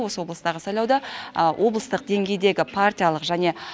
осы облыстағы сайлауды облыстық деңгейдегі партиялық және